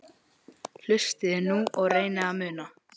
Hlustiði nú og reynið að muna